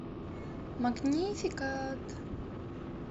магнификат